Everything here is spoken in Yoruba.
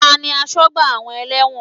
Tani asọ́gbà àwọn ẹlẹ́wọ̀n?